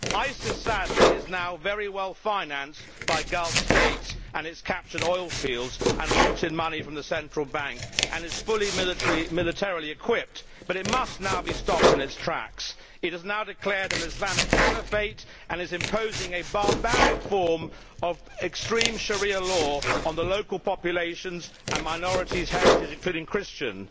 ISIS, sadly, is now very well financed by Gulf States and it has captured oilfields and looted money from the central bank and is fully militarily equipped, but it must now be stopped in its tracks. It has now declared an Islamic caliphate and is imposing a barbaric form of extreme Sharia law on the local populations and minorities' heritage, including Christians,